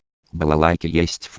аа